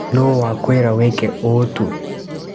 Nũ wakwĩra wĩke ũũ tu.